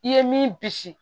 I ye min bisi